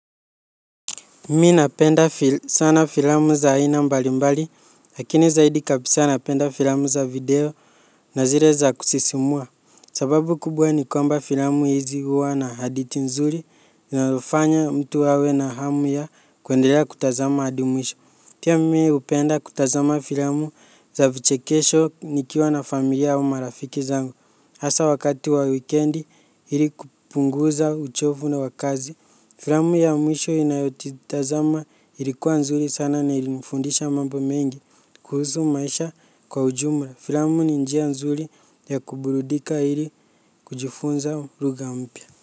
Mimi napenda sana filamu za aina mbali mbali, lakini zaidi kabisa napenda filamu za video na zile za kusisimua. Sababu kubwa ni kwamba filamu hizi huwa na hadithi nzuri, linalofanya mtu awe na hamu ya kuendelea kutazama adi mwisho. Pia mimi hupenda kutazama filamu za vichekesho nikiwa na familia au marafiki zangu. Hasa wakati wa wikendi ili kupunguza uchovu na wakazi. Filamu ya mwisho inayojitazama ilikuwa nzuri sana na ilinifundisha mambo mengi kuhusu maisha kwa ujumla. Filamu ni njia nzuri ya kuburudika ili kujifunza lugha mpya.